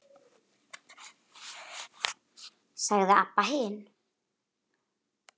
sagði Abba hin.